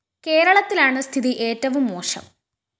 കേരളത്തിലാണ് സ്ഥിതി ഏറ്റവും മോശം